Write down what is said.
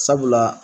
Sabula